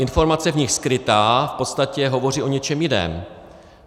Informace v nich skrytá v podstatě hovoří o něčem jiném.